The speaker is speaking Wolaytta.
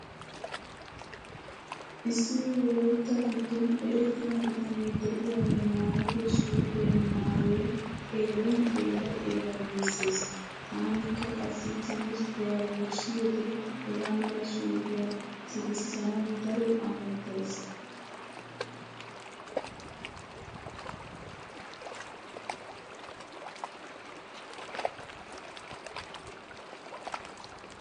Issi wolaytta giddon erettida bitanee diyagee maayido suufe maayoy xeellin xeella xeella giissees. Taanikka qassi timirttiya wurssiyode hega mala suufiya sikissanawu daro amottays.